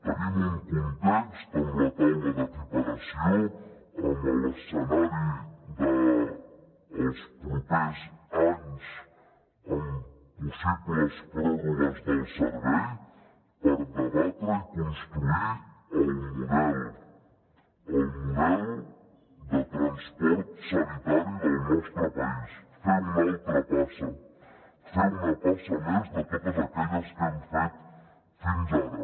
tenim un context amb la taula d’equiparació amb l’escenari dels propers anys amb possibles pròrrogues del servei per debatre i construir el model el model de transport sanitari del nostre país fer una altra passa fer una passa més de totes aquelles que hem fet fins ara